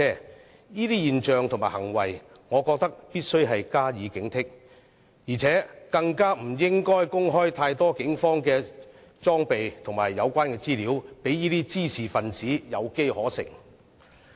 對於這種現象和行為，我認為必須加以警惕，更不應該公開太多警方的裝備和資料，讓滋事分子有機可乘。